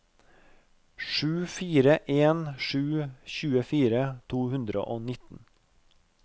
sju fire en sju tjuefire to hundre og nitten